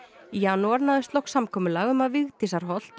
í janúar náðist loks samkomulag um að